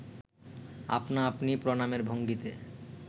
আপনা আপনি প্রণামের ভঙ্গিতে